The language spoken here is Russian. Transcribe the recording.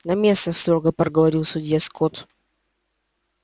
на место строго проговорил судья скотт